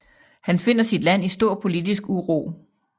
Han finder sit land i stor politisk uro